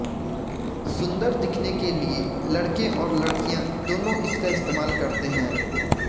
सुंदर दिखने के लिए लड़के और लड़कियां दोनों इसका इस्तेमाल करते हैं